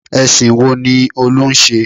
Ẹ̀sìn wo ni Olú ń ṣe?